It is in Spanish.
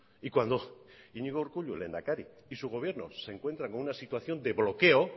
y cuando iñigo urkullu lehendakari y su gobierno se encuentran con una situación de bloqueo